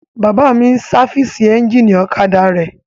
Bàbá mi n sáfìsì éjìnì ọ̀kadà rẹ̀